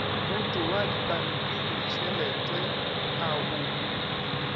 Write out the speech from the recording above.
mmoto wa dipampiritšhelete a o